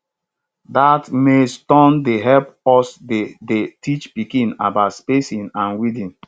dat maize tune dey help us dey dey teach pikin about spacing and weeding